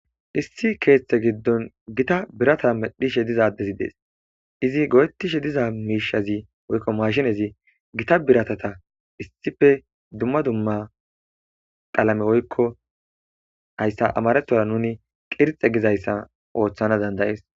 Issi keeththe giddon gita birata medhdhishe diza addezi de'es; izi go'etishe diza miishshazi woykko maashinezi gita biratata issippe dumma dumma qalame woykko hayssa amarethora nuni qirxe gizayssa ooththana danda'es.